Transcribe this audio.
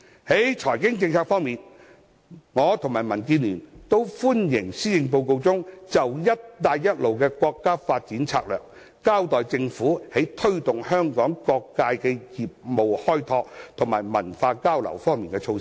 在財經政策方面，我和民主建港協進聯盟都歡迎施政報告中，就"一帶一路"國家發展策略，交代政府在推動香港各界的業務開拓和文化交流方面的措施。